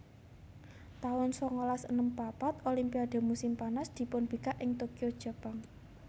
taun sangalas enem papat Olimpiade musim panas dipunbikak ing Tokyo Jepang